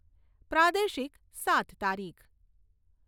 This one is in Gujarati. પ્રાદેશિક સાત તારીખ